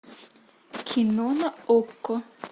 кино на окко